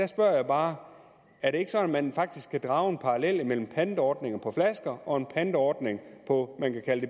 spørger bare er det ikke sådan at man faktisk kan drage en parallel mellem pantordningen på flasker og en pantordning på